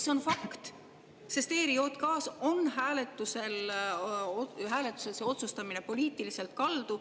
See on fakt, sest ERJK‑s on hääletusel see otsustamine poliitiliselt kaldu.